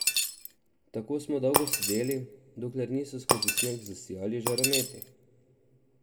Tako smo dolgo sedeli, dokler niso skozi sneg zasijali žarometi.